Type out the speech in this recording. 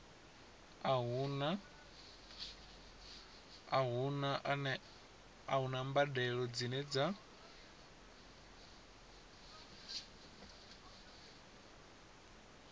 a huna mbadelo dzine dza